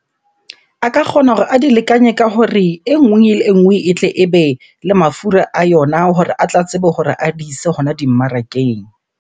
A ka kgona hore a di lekanye ka hore e nngwe le e nngwe e tle ebe le mafura a yona hore a tla tsebe hore a di ise hona dimmarakeng.